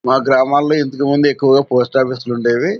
మా గ్రామాల్లో ఇంతకు ముందు ఎక్కువగా పోస్ట్ ఆఫీస్ లు ఉండేవి.